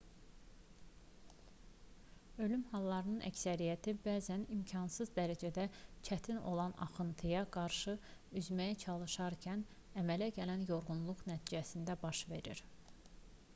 ölüm hallarının əksəriyyəti bəzən imkansız dərəcədə çətin olan axıntıya qarşı üzməyə çalışarkən əmələ gələn yorğunluq nəticəsində baş verir